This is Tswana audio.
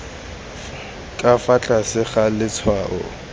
ka fa tlase ga letshwao